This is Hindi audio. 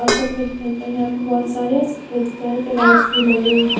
और सफेद रंग का यहाँ पे बहुत सारे सफेद कलर के लाइट्स भी लगे हुए हैं।